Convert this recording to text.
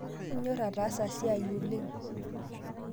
Inyor aatasa seia oleng